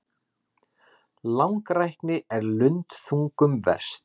Langrækni er lundþungum verst.